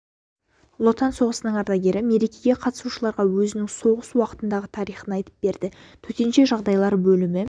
ұлы отан соғысының ардагері мерекге қатысушыларға өзінің соғыс уақытындағы тарихын айтып берді төтенше жағдайлар бөлімі